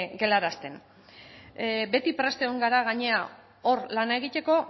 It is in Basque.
galarazten beti prest egon gara gainera hor lan egiteko